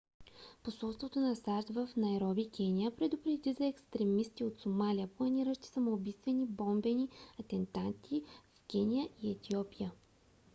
посолството на сащ в найроби кения предупреди за екстремисти от сомалия планиращи самоубийствени бомбени атентати в кения и етиопия